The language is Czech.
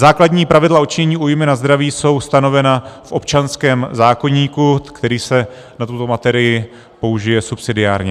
Základní pravidla odčinění újmy na zdraví jsou stanovena v občanském zákoníku, který se na tuto materii použije subsidiárně.